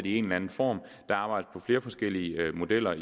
i en eller anden form der arbejdes på flere forskellige modeller